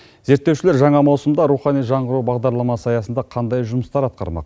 зерттеушілер жаңа маусымда рухани жаңғыру бағдарламасы аясында қандай жұмыстар атқармақ